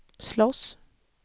slåss